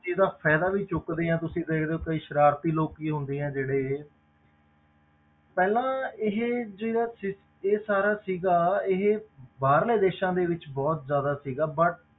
ਇਹਦਾ ਫ਼ਾਇਦਾ ਵੀ ਚੁੱਕਦੇ ਆ ਤੁਸੀਂ ਫਿਰ ਜਦੋਂ ਕਈ ਸਰਾਰਤੀ ਲੋਕੀ ਹੁੰਦੇ ਆ ਜਿਹੜੇ ਪਹਿਲਾਂ ਇਹ ਜਿਹੜਾ ਸੀ ਇਹ ਸਾਰਾ ਸੀਗਾ ਇਹ ਬਾਹਰਲੇ ਦੇਸਾਂ ਦੇ ਵਿੱਚ ਬਹੁਤ ਜ਼ਿਆਦਾ ਸੀਗਾ but